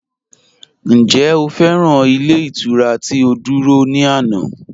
Ǹjẹ́ o fẹ́ran ilẹ̀ iturà ti o dúrọ̀ ni ànà?